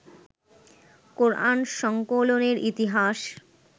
কোরআন সংকলনের ইতিহাস